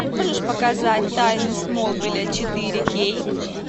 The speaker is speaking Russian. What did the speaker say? можешь показать тайны смолвиля четыре кей